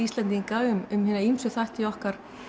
Íslendinga um hina ýmsu þætti í okkar